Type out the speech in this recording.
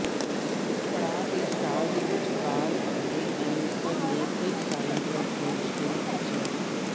ਪੜਾਅ ਦੇ ਸਟਾਰ ਦੇ ਵਿਚਕਾਰ ਅਤੇ ਐਲੀਸਨ ਨੇ ਕਈ ਸਾਲਾਂ ਤੋਂ ਆਪਣੇ ਰਿਸ਼ਤੇ ਨੂੰ ਖਿੱਚਿਆ